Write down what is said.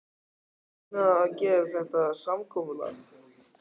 Hvers vegna að gera þetta samkomulag?